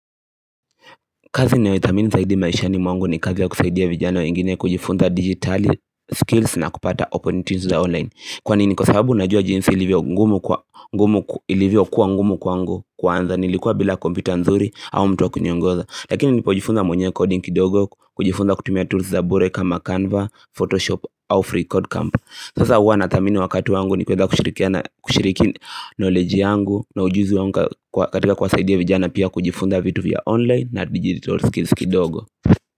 Kazi nayo ithamini zaidi maishani mwangu ni kazi ya kusaidia vijana wengine kujifunza dijitali skills na kupata opportunities za online Kwa nini kwa sababu najua jinsi ilivyo kuwa ngumu kwangu kuanza nilikuwa bila kompyuta nzuri au mtu wa kuniongoza Lakini nilipo jifunza mwenye coding kidogo, kujifunza kutumia tools za bure kama Canva, Photoshop au Free Code Camp Sasa huwa nathamini wakati wangu nikuweza kushirikiana kushiriki knowledge yangu na ujuzi wangu katika kuwasaidia vijana pia kujifunza vitu vya online na digital skills kidogo.